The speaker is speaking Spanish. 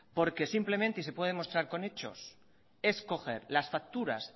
porque simplemente y se puede demostrar con hechos es coger las facturas